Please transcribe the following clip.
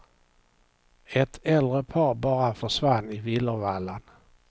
Ett äldre par bara försvann i villervallan.